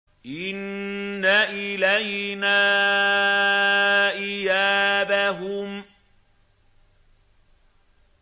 إِنَّ إِلَيْنَا إِيَابَهُمْ